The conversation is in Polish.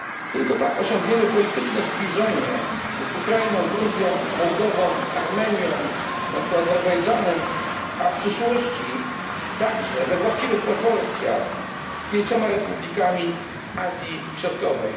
Tylko tak osiągniemy polityczne zbliżenie z Ukrainą, Gruzją, Mołdową, Armenią i w końcu Azerbejdżanem, a w przyszłości także we właściwych proporcjach z pięcioma republikami Azji Środkowej.